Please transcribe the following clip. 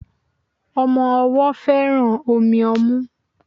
Omo owó féràn Omi omú